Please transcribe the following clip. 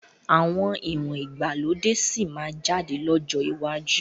Àwọn ìwọ̀n ìgbàlódé sì máa jáde lọ́jọ́ iwájú